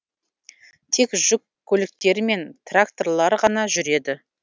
тек жүк көліктері мен тракторлар ғана жүреді